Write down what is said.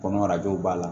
Kɔnɔ arajow b'a la